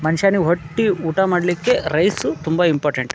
ಮನುಷ್ಯ ಹೊಟ್ಟಿ ಊಟ ಮಾಡ್ಲಿಕ್ಕೆ ರೈಸ್ ತುಂಬ ಇಂಪಾರ್ಟೆಂಟ್ .